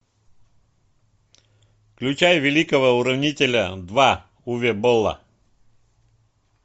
включай великого уравнителя два уве болла